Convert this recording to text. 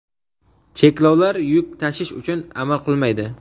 cheklovlar yuk tashish uchun amal qilmaydi.